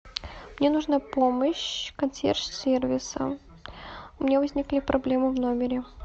мне нужна помощь консьерж сервиса у меня возникли проблемы в номере